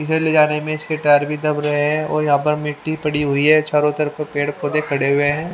इधर ले जाने में इसके टायर भी दब्ब रहे है और यहाँ पर मिटी पड़ी हुई है चारो तरफ पेड़ पौधे खड़े हुए है।